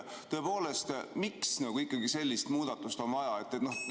Tõepoolest, miks ikkagi sellist muudatust on vaja?